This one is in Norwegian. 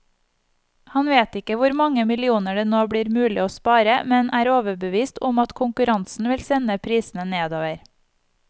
Han vet ikke hvor mange millioner det nå blir mulig å spare, men er overbevist om at konkurransen vil sende prisene nedover.